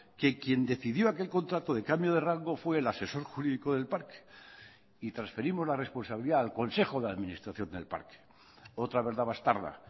que quien decidió aquel contrato de cambio de rango fue el asesor jurídico del parque y transferimos la responsabilidad al consejo de administración del parque otra verdad bastarda